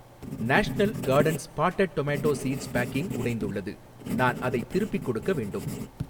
National gardens potted tomato seeds packing உடைந்துள்ளது, நான் அதைத் திருப்பிக் கொடுக்க வேண்டும்.